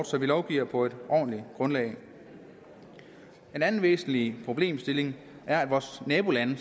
så vi lovgiver på et ordentligt grundlag en anden væsentlig problemstilling er at vores nabolande